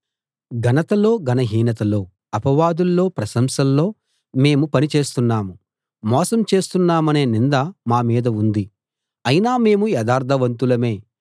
ఘనతలో ఘనహీనతలో అపవాదుల్లో ప్రశంసల్లో మేము పని చేస్తున్నాం మోసం చేస్తున్నామనే నింద మా మీద ఉంది అయినా మేము యథార్థవంతులమే